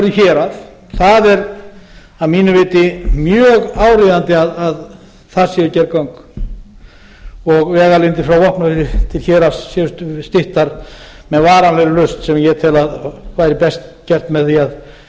hérað það er að mínu viti mjög áríðandi að þar séu gerð göng og vegalengdir frá vopnafirði til hérað séu styttar með varanlegri lausn sem ég tel að væri best gert með því að